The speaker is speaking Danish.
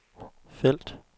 felt